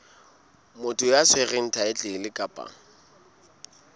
motho ya tshwereng thaetlele kapa